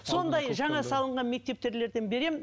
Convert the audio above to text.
сондай жаңа салынған беремін